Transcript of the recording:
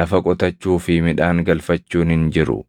lafa qotachuu fi midhaan galfachuun hin jiru.